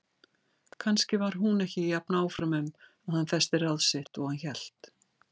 Kannski var hún ekki jafn áfram um að hann festi ráð sitt og hann hélt.